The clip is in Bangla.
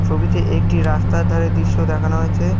ছবিতে একটি রাস্তার ধারে দিশ্য দেখানো হয়েছে।